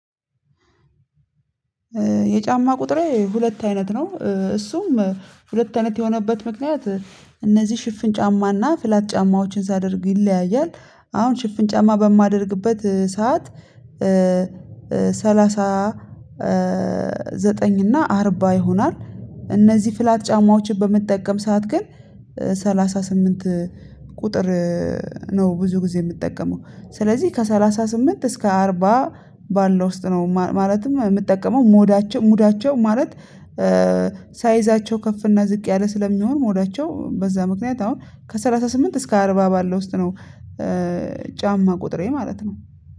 የጫማ ቁጥሬ ሁለት አይነት ነው እሱም ሁለት አይነት የሆነበት ምክንያት እነዚህ ሽፍን ጫማና ፍላት ጫማዎችን ሳደርግ ይለያያል። አሁን ሽፍን ጫማ በማደርግበት ሰዓት ሰላሳ ዘጠኝ እና አርባ ይሆናል። እነዚህ ፍላት ጫማዎችን በምጠቀም ሰዓት ግን ሰላሳ ስምንት ቁጥር ነው ብዙ ጊዜ የምጠቀመው። ስለዚህ ከሰላሳ ስምንት እስከ አርባ ባለው ውስጥ ነው ማለትም የምጠቀመው ሞዳቸው ሙዳቸው ማለት ሳይዛቸው ከፍ እና ዝቅ ያለ ስለሚሆን ሞዳቸው በዛ ምክንያት አሁን ከሰላሳ ስምንት እስከ አርባ ባለው ውስጥ ነው። ጫማ ቁጥሬ ማለት ነው።